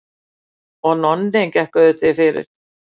Og Nonni gekk auðvitað fyrir.